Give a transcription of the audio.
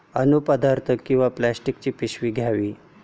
अन्नपदार्थ किंवा प्लास्टिकची पिशवी घ्या.